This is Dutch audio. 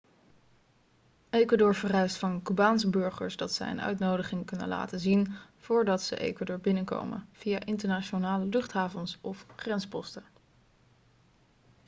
ecuador vereist van cubaanse burgers dat zij een uitnodiging kunnen laten zien voordat ze ecuador binnenkomen via internationale luchthavens of grensposten